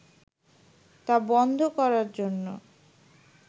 তা বন্ধ করার জন্য